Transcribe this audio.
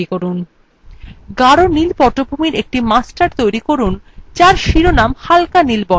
গাড় নীল পটভূমির একটি master তৈরী করুন যার শিরোনামের স্থান হালকা নীল বর্ণের হবে